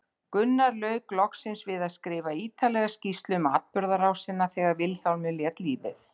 Gunnar lauk loksins við að skrifa ítarlega skýrslu um atburðarásina þegar Vilhjálmur lét lífið.